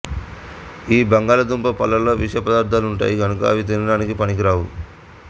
ఈ బంగాళదుంప పళ్ళలో విషపదార్ధాలుంటాయి గనుక అవి తినడానికి పనికిరావు